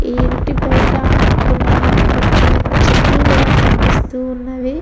ఈ ఇంటి బయట కొన్ని ఆకు పచ్చని చెట్లు కూడా కనిపిస్తూ ఉన్నవి --